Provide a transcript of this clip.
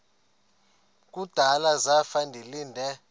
kudala zafa ndilinde